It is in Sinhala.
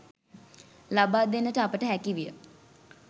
ලබාදෙන්නට අපට හැකිවිය.